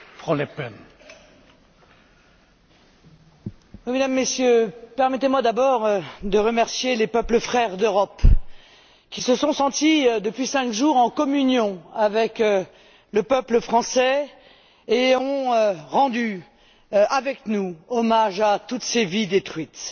Monsieur le Président, Mesdames et Messieurs, permettez moi d'abord de remercier les peuples frères d'Europe qui se sont sentis depuis cinq jours en communion avec le peuple français et ont rendu avec nous hommage à toutes ces vies détruites.